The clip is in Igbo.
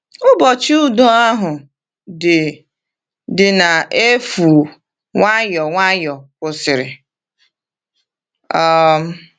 Ụbọchị udo ahụ dị dị n’efu nwayọọ nwayọọ kwụsịrị. um